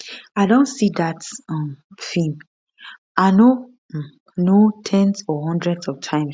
i don see dat um film i no um know ten s or hundreds of times